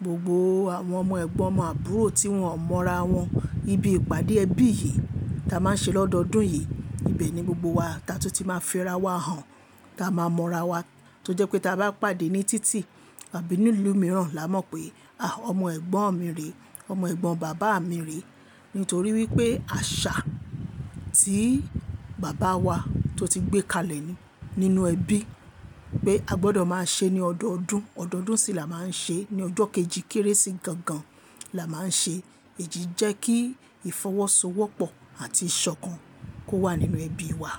Gbogbo àwọn ọmọ ẹ̀gbọ́n, ọmọ àbúrò tí wọn mọ ra wọn íbi ìpàdé ẹbí yìí táa máa ń ṣe lọ́dọọdún yìí, ibẹ̀ ni gbogbo wa ta tún ti máa fi ra wà hàn, táa máa mọ ra wa. Tó jẹ́ pé táa bá pàdé ní títì àbí ní ìlú mìíràn, là á mọ̀ pé, àh! Ọmọ ẹ̀gbọ́n mi rè é, ọmọ ẹ̀gbọ́n bàbá mi rè é. Nítorí wípé àṣà tí bàbá wa tó ti gbé kalẹ̀ nínú ẹbí pé a gbọdọ̀ máa ṣe ní ọdọọdún. Ọdọọdún sì là máà ń ṣe, ní ọjọ́ kejì Kérésì gangan là máà ń ṣe. Èyí jẹ́ kí ìfọ́wọ́sọwọ́pọ̀ àti ìṣọ̀kan kó wà nínú ẹbí wa.